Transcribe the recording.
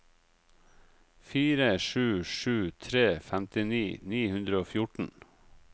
fire sju sju tre femtini ni hundre og fjorten